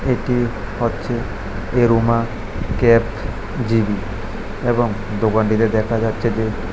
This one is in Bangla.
এটি হচ্ছে আরোমা ক্যাফ জি_বি এবং দোকানটিতে দেখা যাচ্ছে যে--